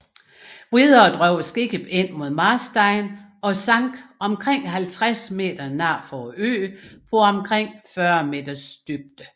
Videre drev skibet ind mod Marstein og sank omkring 50 meter nord for øen på omkring 40 meters dybde